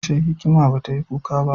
Ashe, hikima ba ta yi kuka ba?